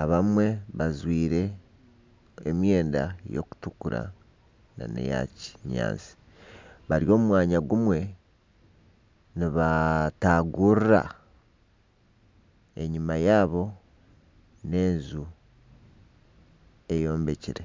abamwe bajwire emyenda erikutukura nana eya kinyaatsi bari omu mwanya gumwe nibatagurura. Enyima yaabo n'enju eyombekire.